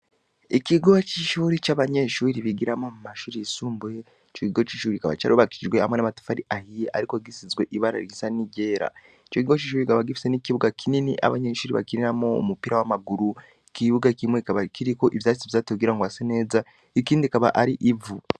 Ikigo c'ishuri c'abanyeshuri bigiramo mu mashuri yisumbuye co kigo c'ishuri kikaba carubakijwe hamwe n'amatufari ahiye, ariko gisizwe ibara risa ni rera ico gigo c'ishubi kkaba gifise n'ikibuga kinini abanyeshuri bakiniramo mu mupira w'amaguru ikibuga kimwe kaba kiriko ivyasi vyatugira ngo ase neza ikindi kaba ari ivu.